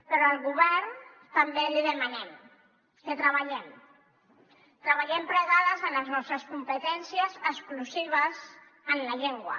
però al govern també li demanem que treballem treballem plegades en les nostres competències exclusives en la llengua